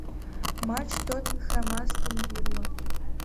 матч тоттенхэм астон вилла